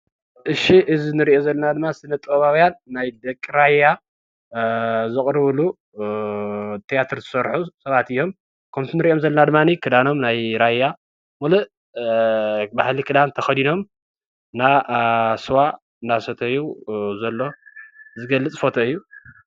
እሺ እዚ እንሪኦ ዘለና ድማ ስነ ጥበባውያን ናይ ደቂ ራያ ዘቅርብሉ ቲያትር ዝሰርሑ ሰባት እዮም ከምቲ ንሪኦ ዘለና ክዳኖም ናይ ራያ ምሉእ ባህሊ ክዳን ተከዲኖም ስዋ ዳሰተዩ ዝገልፅ ፎቶ እዩ።